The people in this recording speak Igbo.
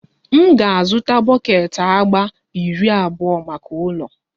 M ga-azụta bọket agba iri abụọ maka ụlọ